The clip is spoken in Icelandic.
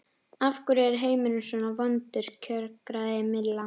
Af hverju er heimurinn svona vondur kjökraði Milla.